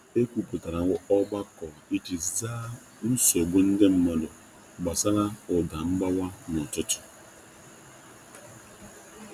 E nwere ogbako e mere iji dozie nchegbu ọha na eze gbasara mkpọtụ ọrụ ịrụ ụlọ n’ụtụtụ.